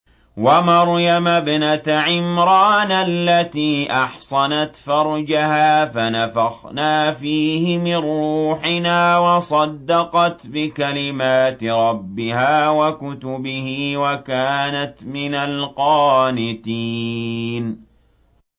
وَمَرْيَمَ ابْنَتَ عِمْرَانَ الَّتِي أَحْصَنَتْ فَرْجَهَا فَنَفَخْنَا فِيهِ مِن رُّوحِنَا وَصَدَّقَتْ بِكَلِمَاتِ رَبِّهَا وَكُتُبِهِ وَكَانَتْ مِنَ الْقَانِتِينَ